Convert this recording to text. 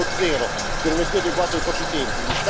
1.0, che non è più adeguato ai propri tempi.